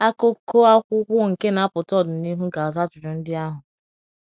akuko akwụkwo nke n'apụta ọdịnịhụ ga aza ajụjụ ndi ahụ